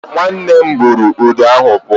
Nwanne buru udu ahụ pụọ